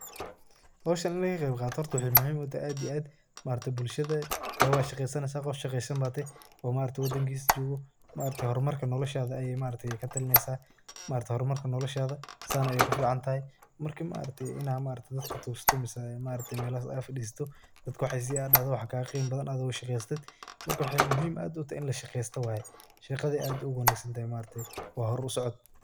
Hooshan in laga Qeeb Qatoh, waxay muhim u tahay aad iyo aad maaragtay bulshada adiga washaqeeysaneysah Qoof shaqeeysan batahay oo maaragtay wadangisa jokoh maaragtay hormarka noloshada Aya maaragtay wax katareysah maargtahay hurmarka noloshada saan Aya kuficantahay, marka maargtahay Inay maargtahay dadaka tuugsatoh ee maaragtay meelaha AA fadisatoh dadka wax isiyaa aadahtoh waxakaga Qima bathan ado shaqeystoh marka mxa muhim u tahay ini la shaqeystoh waye shaqda aad Aya u wanagsantahay wa huur usoocot.